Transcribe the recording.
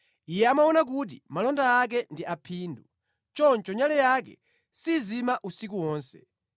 Iye amaona kuti malonda ake ndi aphindu, choncho nyale yake sizima usiku wonse.